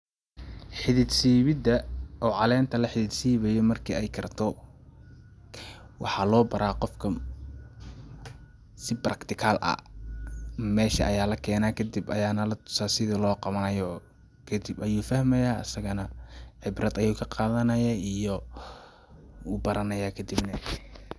Xidid siibida oo caleenta la xidid sibaayo marki ay karto waxaa loo baraa qofka si practical ah ,meesha aya la kenaa kadib ayaana la tusaa sida loo qawanayo kadib ayuu fahmayaa asaga nah cibrad ayuu ka qadanayaa iyo wuu baranayaa kadib neh.